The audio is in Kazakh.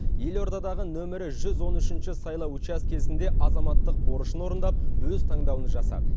елордадағы нөмірі жүз он үшінші сайлау учаскесінде азаматтық борышын орындап өз таңдауын жасады